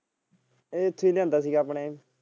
ਇਹ ਇਥੇ ਲਿਆਂਦਾ ਸੀਗਾ ਆਪਣੇ।